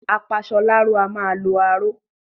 Apasọláró a máa lo aró